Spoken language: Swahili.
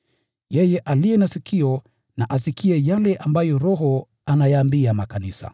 Yeye aliye na sikio na asikie yale ambayo Roho ayaambia makanisa.”